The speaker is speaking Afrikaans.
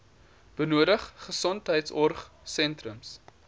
benodig gesondheidsorg sentrums